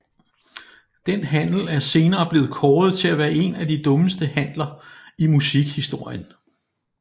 Den handel er senere blevet kåret til at være en af de dummeste handler i musikhistorien